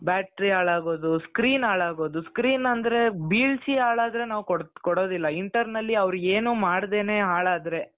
battery ಹಾಳಾಗೋದು screen ಹಾಳಾಗೋದು screen ಅಂದ್ರೆ ಬೀಳಿಸಿ ಹಾಳಾದರೆ ನಾವ್ ಕೊಡೋದಿಲ್ಲ internally ಅವರು ಏನೂ ಮಾಡದೇನೆ ಹಾಳಾದರೆ